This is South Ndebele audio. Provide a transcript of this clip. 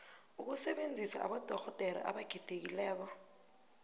ukusebenzisa abodorhodere abakhethekileko